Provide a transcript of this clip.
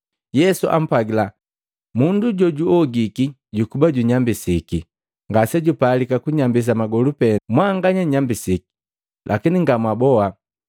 Yesu ampwagila, “Mundu jojuogiki jukuba junyambisiki ngase jupalika kusambisa magolu pee. Mwanganya nnyambisiki, lakini nga mwaboa.”